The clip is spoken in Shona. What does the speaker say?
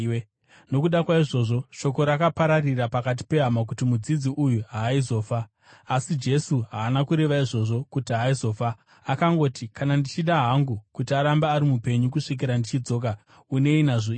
Nokuda kwaizvozvo, shoko rakapararira pakati pehama kuti mudzidzi uyu haaizofa. Asi Jesu haana kureva izvozvo kuti haaizofa; akangoti, “Kana ndichida hangu kuti arambe ari mupenyu kusvikira ndichidzoka, unei nazvo iwe?”